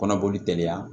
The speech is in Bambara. Kɔnɔboli teliya